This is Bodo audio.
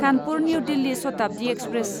Kanpur new Delhi Shatabdi express